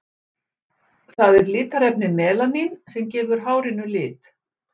það er litarefnið melanín sem gefur hárinu lit